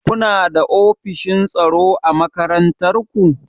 Kuna da ofishin tsaro a makarantar ku?